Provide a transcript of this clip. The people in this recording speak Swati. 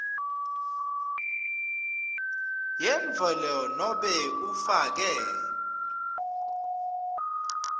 yemvelo nobe ufake